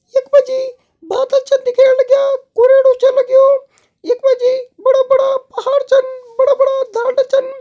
यख मा जी बादल छन दिखेण लग्यां कुरेड़ु छ लग्युं यख मा जी बड़ा बड़ा पहाड़ छन बड़ा बड़ा छन।